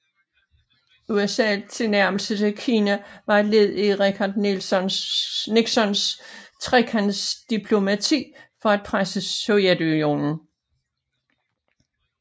USAs tilnærmelser til Kina var et led i Richard Nixons trekantsdiplomati for at presse Sovjetunionen